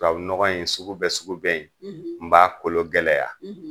Tubabunɔgɔn in sugu bɛ sugu bɛ yen; n b'a kolon gɛlɛya;